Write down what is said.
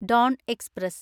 Don express